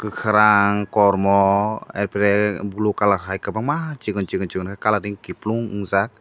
karang kormo arpore blue colour hai kwbangma chikon chikon chikon ke colouring kupulung unjaak.